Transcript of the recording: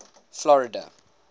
florida